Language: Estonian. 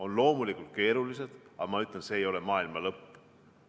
On loomulikult keerulised, aga ma ütlen, et see ei ole maailma lõpp.